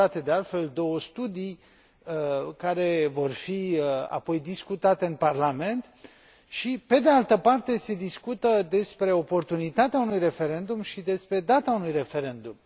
comandate, de altfel, două studii care vor fi apoi discutate în parlament și, pe de altă parte, se discută despre oportunitatea unui referendum și despre data unui referendum.